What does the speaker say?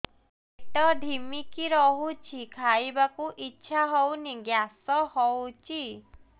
ପେଟ ଢିମିକି ରହୁଛି ଖାଇବାକୁ ଇଛା ହଉନି ଗ୍ୟାସ ହଉଚି